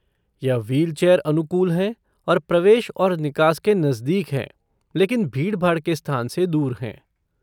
यह व्हीलचेयर अनुकूल हैं और प्रवेश और निकास के नजदीक हैं लेकिन भीड़ भाड़ के स्थान से दूर हैं।